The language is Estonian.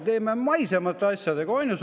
Tegeleme maisemate asjadega!